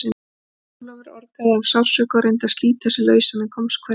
Jón Ólafur orgaði af sársauka og reyndi að slíta sig lausan en komst hvergi.